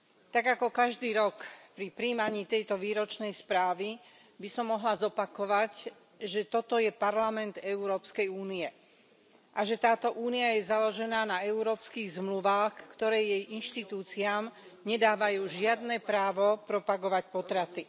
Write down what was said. Tak ako každý rok pri prijímaní tejto výročnej správy by som mohla zopakovať, že toto je Parlament Európskej únie a že táto Únia je založená na európskych zmluvách, ktoré jej inštitúciám nedávajú žiadne právo propagovať potraty.